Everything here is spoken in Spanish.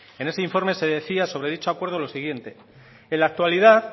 en ese informe se decía sobre dicho acuerdo lo siguiente en la actualidad